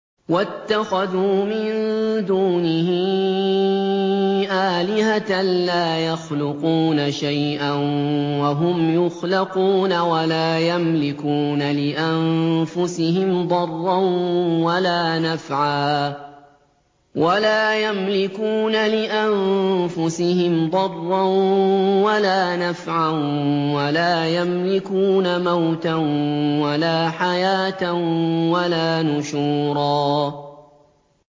وَاتَّخَذُوا مِن دُونِهِ آلِهَةً لَّا يَخْلُقُونَ شَيْئًا وَهُمْ يُخْلَقُونَ وَلَا يَمْلِكُونَ لِأَنفُسِهِمْ ضَرًّا وَلَا نَفْعًا وَلَا يَمْلِكُونَ مَوْتًا وَلَا حَيَاةً وَلَا نُشُورًا